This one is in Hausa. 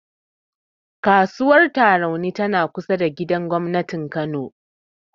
Kasuwar Tarauni tana kusa da gidan gobnatin Kano.